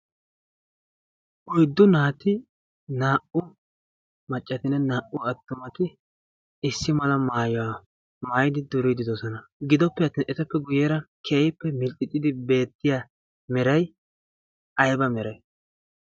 Oyddu naati naa"u maccatinne naa"u attumati issi mala maayuwaa maayidi duriididoosona gidoppe attin etappe guyyera keayippe milxxixxidi beettiya miray ayba meray?